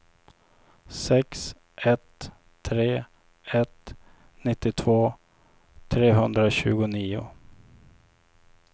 sex ett tre ett nittiotvå trehundratjugonio